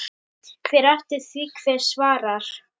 Fer eftir því hver svarar.